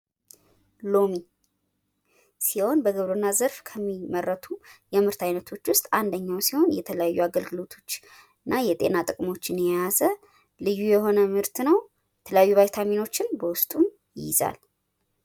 ሎሚ ሲሆን በግብርና ዘርፍ ከሚመረቱ የምርት አይነቶች ውስጥ አንደኛው ሲሆን የተለያዩ አገልግሎቶች እና የጤና ጥቅሞችን የያዘ ልዩ የሆነ ምርት ነው። የተለያዩ ቫይታሚኖችን በውስጡ ይይዛል።